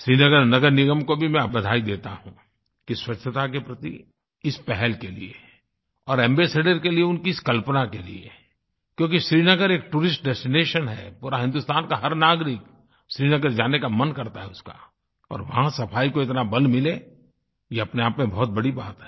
श्रीनगर नगर निगम को भी मैं बधाई देता हूँ कि स्वच्छता के प्रति इस पहल के लिए और एम्बासाडोर के लिए उनकी इस कल्पना के लिए क्योंकि श्रीनगर एक टूरिस्ट डेस्टिनेशन है और हिन्दुस्तान का हर नागरिक श्रीनगर जाने का मन करता है उसका और वहाँ सफ़ाई को इतना बल मिले ये अपने आप में बहुत बड़ी बात है